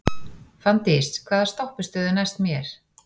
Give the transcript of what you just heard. Fanndís, hvaða stoppistöð er næst mér?